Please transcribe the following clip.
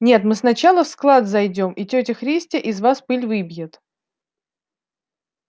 нет мы сначала в склад зайдём и тётя христя из вас пыль выбьет